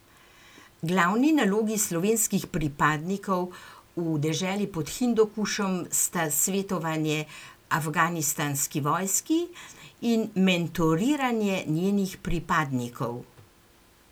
Glavni nalogi slovenskih pripadnikov v deželi pod Hindukušem sta svetovanje afganistanski vojski in mentoriranje njenih pripadnikov.